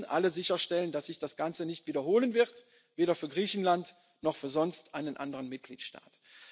bleibt ein Sonderfall. Wir müssen alle sicherstellen, dass sich das Ganze nicht wiederholen wird, weder für Griechenland noch für sonst einen